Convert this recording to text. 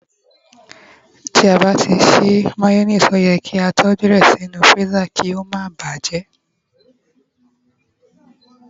ti a ba ti sí mayonnaise, o ye ki a toju rẹ sí inú freezer ki o ma ba bajẹ